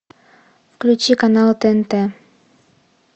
включи канал тнт